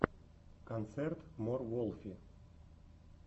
концерт мор волфи